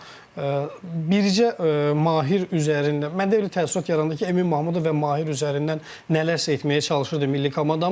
Amma bircə Mahir üzərindən mənə elə təəssürat yarandı ki, Emin Mahmudov və Mahir üzərindən nələrsə etməyə çalışırdı milli komandamız,